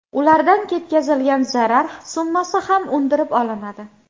Ulardan yetkazilgan zarar summasi ham undirib olinadi.